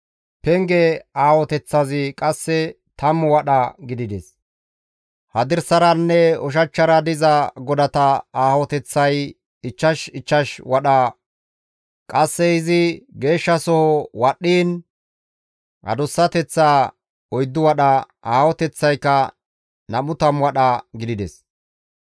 Penge aahoteththazi qasse tammu wadha gidides. Hadirsaranne ushachchara diza godata aahoteththay ichchash ichchash wadha. Qasse izi Geeshshasoho wadhdhiin adussateththa 40 wadha, aahoteththaykka 20 wadha gidides.